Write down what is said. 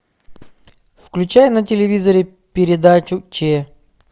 включай на телевизоре передачу че